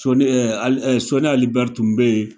Sɔni Sɔni Ali Bɛri tun bɛ yen